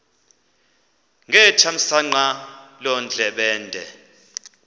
ngethamsanqa loo ndlebende